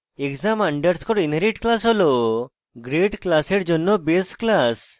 exam underscore inherit class হল grade class জন্য base class